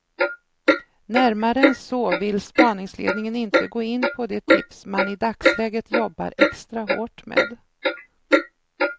Närmare än så vill spaningsledningen inte gå in på de tips man i dagsläget jobbar extra hårt med.